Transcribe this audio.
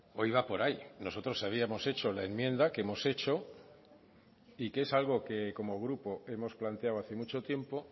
hoy va por ahí nosotros habíamos hecho la enmienda que hemos hecho y que es algo que como grupo hemos planteado hace mucho tiempo